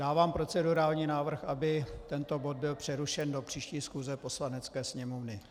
Dávám procedurální návrh, aby tento bod byl přerušen do příští schůze Poslanecké sněmovny.